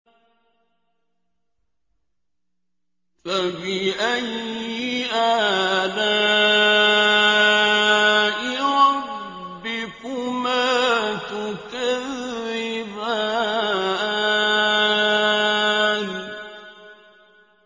فَبِأَيِّ آلَاءِ رَبِّكُمَا تُكَذِّبَانِ